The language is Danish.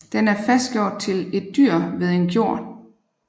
Den er fastgjort til et dyr ved en gjord